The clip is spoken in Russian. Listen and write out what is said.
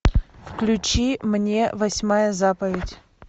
включи мне восьмая заповедь